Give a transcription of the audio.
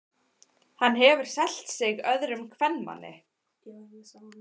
Hann hefur selt sig öðrum kvenmanni.